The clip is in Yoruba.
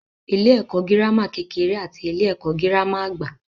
Ilé-ẹ̀kọ́ girama kekere àti ilé-ẹ̀kọ́ girama àgbà.